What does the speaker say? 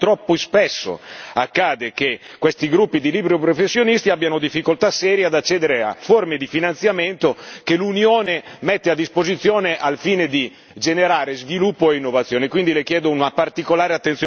Infatti, troppo spesso accade che questi gruppi di liberi professionisti abbiano difficoltà serie ad accedere a forme di finanziamento che l'Unione mette a disposizione al fine di generare sviluppo e innovazione. Quindi, le chiedo una particolare attenzione a questo particolare.